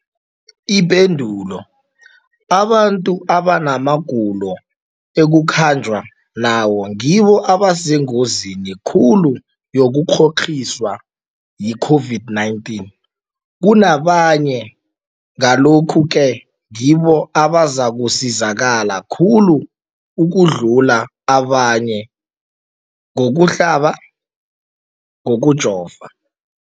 Ipendulo, abantu abanamagulo ekukhanjwa nawo ngibo abasengozini khulu yokukghokghiswa yi-COVID-19 kunabanye, Ngalokhu-ke ngibo abazakusizakala khulu ukudlula abanye ngokuhlaba, ngokujova.